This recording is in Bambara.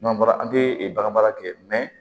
N'an bɔra an tɛ bagan mara kɛ